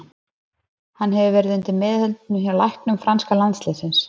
Hann hefur verið undir meðhöndlun hjá læknum franska landsliðsins.